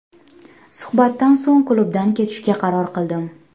Suhbatdan so‘ng klubdan ketishga qaror qildim.